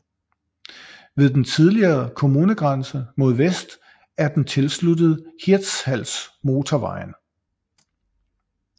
Ved den tidligere kommunegrænse mod vest er den tilsluttet Hirtshalsmotorvejen